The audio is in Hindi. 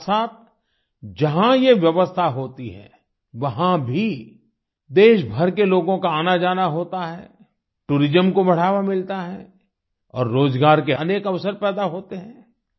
साथसाथ जहाँ ये व्यवस्था होती है वहाँ भी देशभर के लोगों का आनाजाना होता है टूरिज्म को बढावा मिलता है और रोज़गार के अनेक अवसर पैदा होते हैं